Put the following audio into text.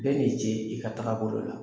Bɛ N'i ci i ka taga bolo la.